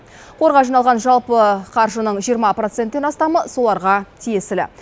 қорға жиналған жалпы қаржының жиырма проценттен астамы соларға тиесілі